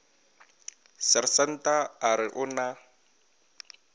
sersanta a re o na